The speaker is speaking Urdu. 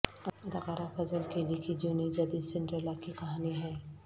اداکارہ فضل کیلی کی جیونی جدید سنڈریلا کی کہانی ہے